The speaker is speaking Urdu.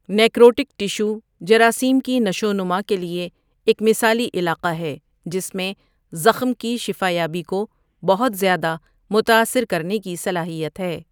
نیکروٹک ٹشو جراثیم کی نشوونما کے لیے ایک مثالی علاقہ ہے جس میں زخم کی شفا یابی کو بہت زیادہ متاثر کرنے کی صلاحیت ہے۔